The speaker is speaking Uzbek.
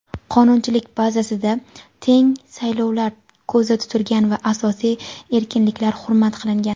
qonunchilik bazasida teng saylovlar ko‘zda tutilgan va asosiy erkinliklar hurmat qilingan.